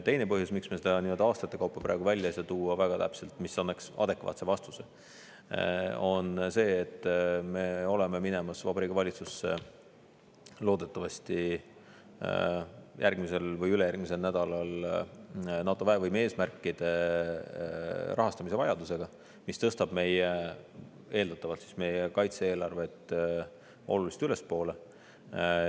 Teine põhjus, miks me seda aastate kaupa väga täpselt praegu välja ei saa tuua, mis annaks adekvaatse vastuse, on see, et me oleme minemas Vabariigi Valitsusse loodetavasti järgmisel või ülejärgmisel nädalal NATO väevõime eesmärkide rahastamise vajadusega, mis eeldatavalt tõstab meie kaitse-eelarvet oluliselt ülespoole.